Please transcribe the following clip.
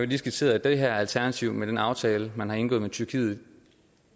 lige skitseret at det her alternativ med den aftale man har indgået med tyrkiet